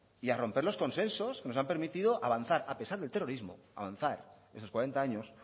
y a romper los consensos que nos han permitido avanzar a pesar del terrorismo avanzar esos cuarenta años